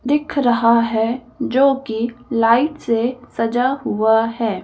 दिख रहा हैजो किलाइट से सजा हुआ है।